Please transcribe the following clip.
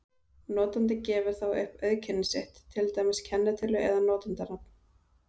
Notandinn gefur þá upp auðkenni sitt, til dæmis kennitölu eða notandanafn.